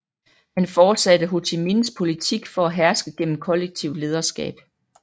Han fortsatte Hồ Chí Minhs politik for at herske gennem kollektivt lederskab